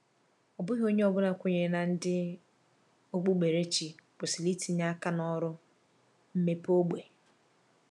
Ọ bụghị onye ọ bụla kwenyere na ndị okpukperechi kwesịrị itinye aka na ọrụ mmepe ógbè.